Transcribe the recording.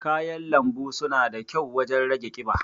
kayan lanbu suna da kyau wajen rage ƙiba.